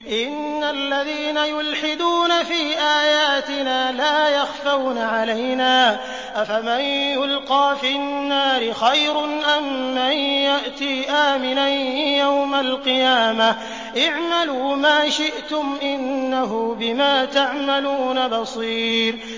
إِنَّ الَّذِينَ يُلْحِدُونَ فِي آيَاتِنَا لَا يَخْفَوْنَ عَلَيْنَا ۗ أَفَمَن يُلْقَىٰ فِي النَّارِ خَيْرٌ أَم مَّن يَأْتِي آمِنًا يَوْمَ الْقِيَامَةِ ۚ اعْمَلُوا مَا شِئْتُمْ ۖ إِنَّهُ بِمَا تَعْمَلُونَ بَصِيرٌ